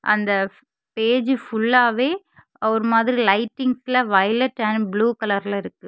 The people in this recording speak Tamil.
அந்த பேஜ் ஃபுல்லாவே அவர் மாதிரி லைட்டிங்ல வயலட் அண்ட் ப்ளூ கலர்ல இருக்கு.